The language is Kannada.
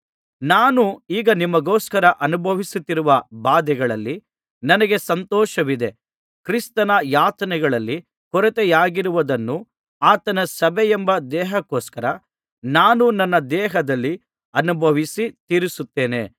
ನಾನು ಈಗ ನಿಮಗೋಸ್ಕರ ಅನುಭವಿಸುತ್ತಿರುವ ಬಾಧೆಗಳಲ್ಲಿ ನನಗೆ ಸಂತೋಷವಿದೆ ಕ್ರಿಸ್ತನ ಯಾತನೆಗಳಲ್ಲಿ ಕೊರತೆಯಾಗಿರುವುದನ್ನು ಆತನ ಸಭೆಯೆಂಬ ದೇಹಕೋಸ್ಕರ ನಾನು ನನ್ನ ದೇಹದಲ್ಲಿ ಅನುಭವಿಸಿ ತೀರಿಸುತ್ತೇನೆ